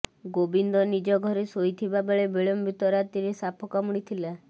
ଗୋବିନ୍ଦ ନିଜ ଘରେ ଶୋଇଥିବା ବେଳେ ବିଳମ୍ବିତ ରାତିରେ ସାପ କାମୁଡିଥିଲା